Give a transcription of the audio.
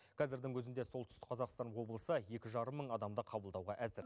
қазірдің өзінде солтүстік қазақстан облысы екі жарым мың адамды қабылдауға әзір